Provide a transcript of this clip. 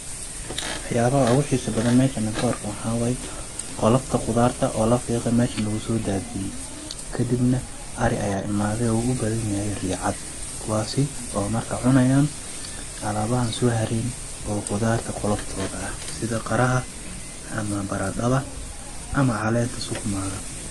Wax yaabaha ugu xiisa badan aan meeshan ka arko waxaa waay ,qolofta qudaarta oo la fiiqay meeshan lagusoo daadiyay ,kadibna ari ayaa imaaday oo ugu badan yahay riya cad ,kuwaasi oo marka cunayaan alaabahan soo hareen oo qudaarta qoloftooda ah sida qaraha ama baradhada ama caleenta sukuma ga.